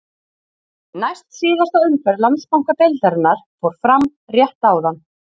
Næst síðasta umferð Landsbankadeildarinnar fór fram rétt áðan.